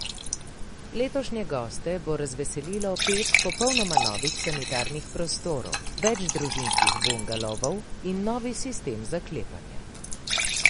Letošnje goste bo razveselilo pet popolnoma novih sanitarnih prostorov, več družinskih bungalovov in novi sistem zaklepanja.